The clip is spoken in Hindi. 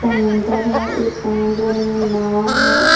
समुंदर है इस समुंदर में एक नाव है।